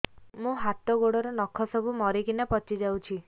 ମୋ ହାତ ଗୋଡର ନଖ ସବୁ ମରିକିନା ପଚି ଯାଉଛି